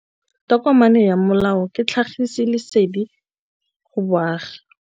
Tokomane ya molao ke tlhagisi lesedi go baagi.